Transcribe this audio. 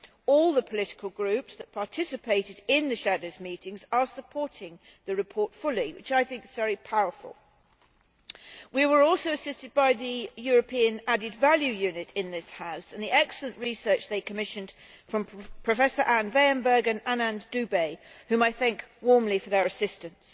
All the political groups that participated in the shadows' meetings are fully supporting the report, which I think is very powerful. We were also assisted by the European Added Value Unit in this House and the excellent research they commissioned from Professor Anne Weyembergh and Anand Doobay, whom I thank warmly for their assistance.